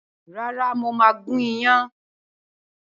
Rárá mo máa gún iyán